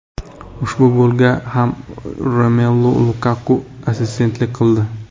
Ushbu golga ham Romelu Lukaku assistentlik qildi.